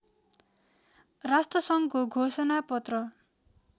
राष्ट्रसङ्घको घोषणा पत्र